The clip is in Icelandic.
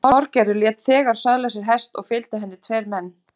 Þorgerður lét þegar söðla sér hest og fylgdu henni tveir menn.